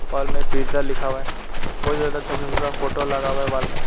Wall में pizza लिखा हुआ है बहुत ज्यादा छोटा छोटा फोटो लगा हुआ है वाल में।